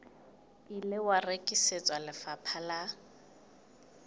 ile wa rekisetswa lefapha la